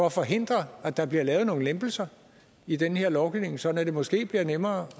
at forhindre at der bliver lavet nogle lempelser i den her lovgivning sådan at det måske bliver nemmere